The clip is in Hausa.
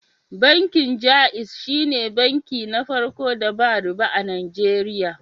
Bankin Jaiz shine banki na farko da ba riba a Najeriya.